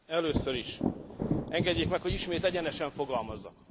Először is, engedjék meg, hogy ismét egyenesen fogalmazzak.